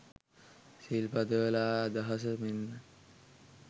සිල් පදවල අදහස මෙන්ම